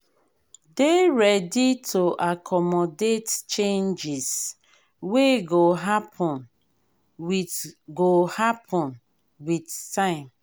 dey ready to accomodate changes wey go happen with go happen with time